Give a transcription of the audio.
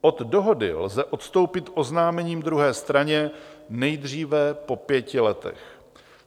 Od dohody lze odstoupit oznámením druhé straně nejdříve po pěti letech.